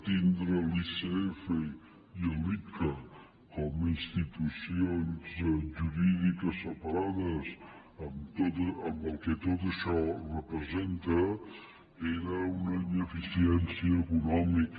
tindre l’icf i l’icca com a institucions jurídiques separades amb el que tot això representa era una ineficiència econòmica